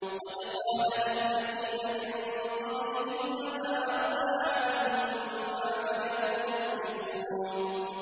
قَدْ قَالَهَا الَّذِينَ مِن قَبْلِهِمْ فَمَا أَغْنَىٰ عَنْهُم مَّا كَانُوا يَكْسِبُونَ